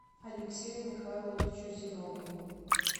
алексею михайловичу зиновьеву